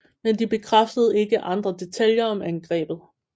Men de bekræftede ikke andre detaljer om angrebet